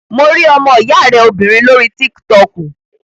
Mo rí ọmọ ìyá rẹ obìnrin lórí tík-tọkù